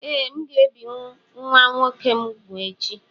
Ee, aga m ebi nwa nwoke m úgwù echi